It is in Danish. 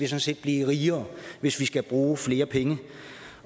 set blive rigere hvis vi skal bruge flere penge